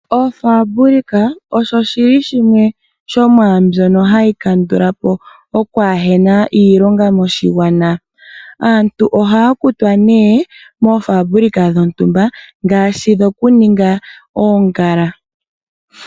Oofambulika osho shimwe sho mwaa mbyono hayi kandula po okwaahena iilonga moshigwana. Aantu ohaa kutwa nee moofambulika dhontumba ngaashi dhokuninga oongala.